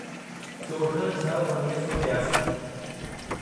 चोॾहं छह उणिवीह सौ टियासी